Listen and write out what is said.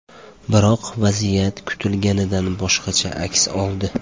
Biroq vaziyat kutilganidan boshqacha aks oldi.